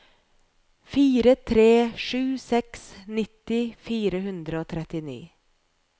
fire tre sju seks nitti fire hundre og trettini